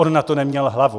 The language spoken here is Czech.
On na to neměl hlavu.